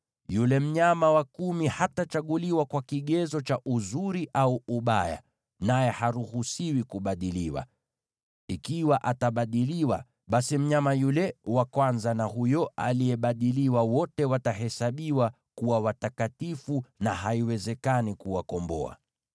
Yule mnyama wa kumi hatachaguliwa kwa kigezo cha uzuri au ubaya, naye haruhusiwi kubadiliwa. Ikiwa atabadiliwa, basi mnyama yule wa kwanza na huyo aliyebadiliwa wote watahesabiwa kuwa watakatifu, na haiwezekani kuwakomboa.’ ”